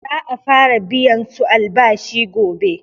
Za'a fara biyan su albashi gobe.